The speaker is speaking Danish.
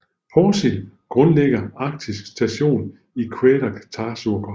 Porsild grundlægger Arktisk Station i Qeqertarsuaq